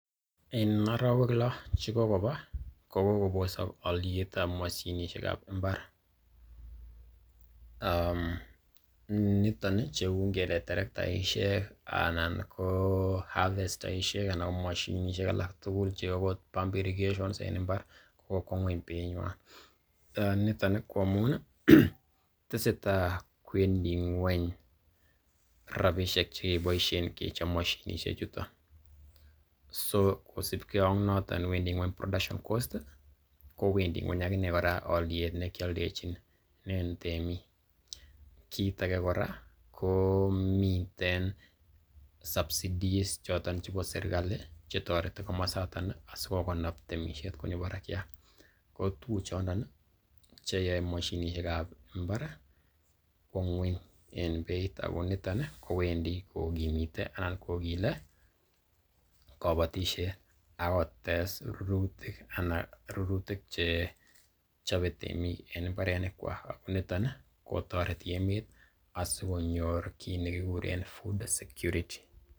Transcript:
En orowek lo chekogoba ko kogobosok olyet ab moshinisiek ab mbar. Niton ii, cheu ngele terektaishek anan ko harvesterishek anan ko moshinisiek alak tugul cheu ot pump irrigation en mbar ko kokwo ng'weny beinywan. Niton ii ko amun tesetai kwendi ng'weny rabishek chekeboishen kechob moshinisiek chuto. So kosibge ak noto wendi ng'weny production cost ii, ko wendi ng'weny agine kora olyet ne keoldechinen temik. Kit age kora ko miten subsidies choton chebo serkalit che toreti komosato asikokanapta temisiet konyoo barakyat. Ko tuguk chondon che you moshinisiek ab mbar kwo ng'weny en beit. Ago niton kowendi kogimite anan kogile kobotisiet ak kotes rurutik che chobe temik en mbarenikwak, ak niton kotoreti emet asikonyor kiit nekiguren food security